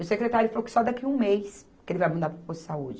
E o secretário falou que só daqui a um mês que ele vai mandar para o posto de saúde.